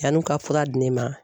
Yann'u ka fura di ne ma.